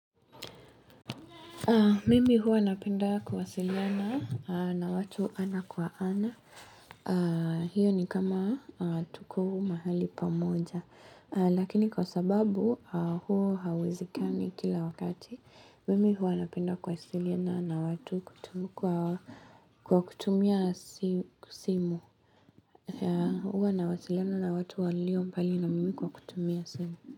Mimi huwa napenda kuwasiliana na watu ana kwa ana. Hio ni kama tuko mahali pamoja. Lakini kwa sababu huo hauwezekani kila wakati. Mimi huwa napenda kuwasiliana na watu kutumia simu. Huwa nawasiliana na watu walio mbali na mimi kwa kutumia simu.